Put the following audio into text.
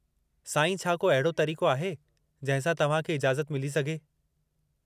साईं, छा को अहिड़ो तरीक़ो आहे जंहिं सां तव्हां खे इजाज़त मिली सघे?